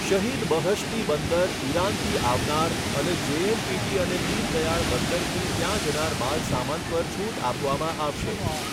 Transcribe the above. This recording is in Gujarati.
શહિદ બહષ્ટી બંદર, ઇરાનથી આવનાર અને જેએનપીટી અને દીનદયાળ બંદરથી ત્યાં જનાર માલસામાન પર છૂટ આપવામાં આવશે